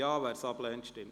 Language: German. / Abstentions